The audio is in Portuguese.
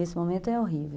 Esse momento é horrível.